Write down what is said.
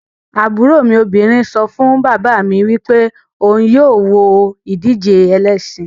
Aburo mi obinrin so fun baba mi wipe ohun yoo wo idije elesin